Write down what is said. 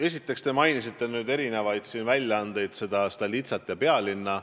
Esiteks, te mainisite siin erinevaid väljaandeid, Stolitsat ja Pealinna.